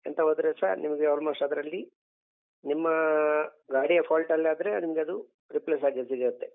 ಎಂತ ಹೋದ್ರೆಸ ನಿಮ್ಗೆ almost ಅದ್ರಲ್ಲಿ ನಿಮ್ಮ ಗಾಡಿಯ fault ಆದ್ರೆ ನಿಮ್ಗದು replace ಆಗಿ ಸಿಗುತ್ತೆ.